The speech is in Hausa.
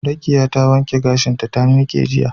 Rekiya ta wanke gashinta ta miqe jiya